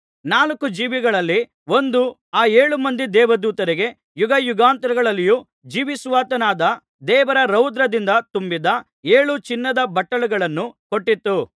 ನಾಲ್ಕು ಜೀವಿಗಳಲ್ಲಿ ಒಂದು ಆ ಏಳು ಮಂದಿ ದೇವದೂತರಿಗೆ ಯುಗಯುಗಾಂತರಗಳಲ್ಲಿಯೂ ಜೀವಿಸುವಾತನಾದ ದೇವರ ರೌದ್ರದಿಂದ ತುಂಬಿದ್ದ ಏಳು ಚಿನ್ನದ ಬಟ್ಟಲುಗಳನ್ನು ಕೊಟ್ಟಿತು